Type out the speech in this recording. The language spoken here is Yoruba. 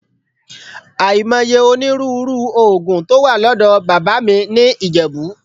Àìmọye onírúurú òògùn tó wà lọ́dọ̀ bàbá mi ní Ìjẹ̀bú